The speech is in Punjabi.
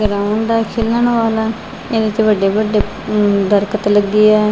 ਇਹਦੇ ਵਿੱਚ ਵੱਡੇ ਵੱਡੇ ਦਰਖਤ ਲੱਗੇ ਆ ।